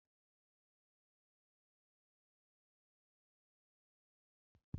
N'oge gara aga, mmanwụ na-ekpe udo n'ezinụlọ na-enwe ndọkọrita.